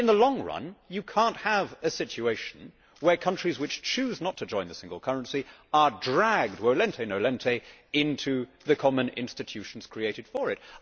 In the long run, you cannot have a situation where countries which choose not to join the single currency are dragged, into the common institutions created for it.